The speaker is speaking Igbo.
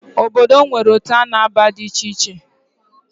Obodo m nwere otu a na-aba di icheiche